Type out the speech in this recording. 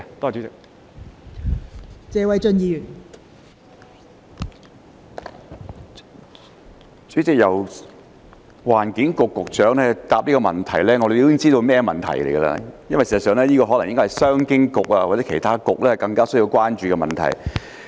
代理主席，由環境局局長負責回答這項質詢，我們已經知道有甚麼問題，因為事實上，商務及經濟發展局或其他局應該更需要關注這問題。